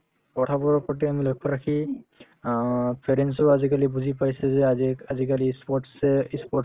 কথাবোৰৰ প্ৰতি আমি লক্ষ্য ৰাখি অ parents ও আজিকালি বুজি পাইছে যে আজিক আজিকালি ই sports য়ে ই sports